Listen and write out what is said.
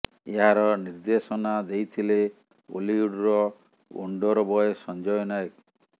ଏହାର ନିର୍ଦ୍ଦେଶନା ଦେଇଥିଲେ ଓଲିଉଡର ଓଣ୍ଡର ବୟ ସଞ୍ଜୟ ନାୟକ